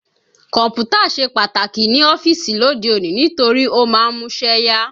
Kọ̀mpútà ṣe pàtàkì ní ọ́fíìsì lóde òní nítorí ó máa ń múṣẹ́ yá